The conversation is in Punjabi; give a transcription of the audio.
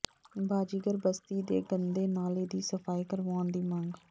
ਬਾਜ਼ੀਗਰ ਬਸਤੀ ਦੇ ਗੰਦੇ ਨਾਲੇ ਦੀ ਸਫ਼ਾਈ ਕਰਵਾਉਣ ਦੀ ਮੰਗ